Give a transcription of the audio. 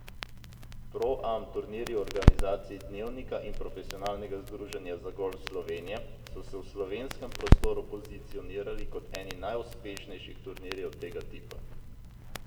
Pro Am turnirji v organizaciji Dnevnika in Profesionalnega združenja za golf Slovenije so se v slovenskem prostoru pozicionirali kot eni najuspešnejših turnirjev tega tipa.